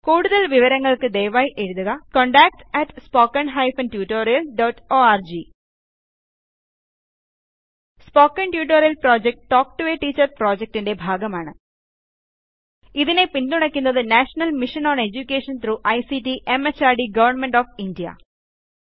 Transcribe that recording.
കൂടുതൽ വിവരങ്ങൾക്ക് ദയവായി എഴുതുക contactspoken tutorialorg spoken tutorial project talk to a teacher പ്രോജക്ടിന്റെ ഭാഗമാണ് ഇതിനെ പിൻ തുണക്കുന്നത് national mission on education through ICT MHRD government of India